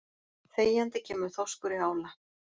Þegjandi kemur þorskur í ála.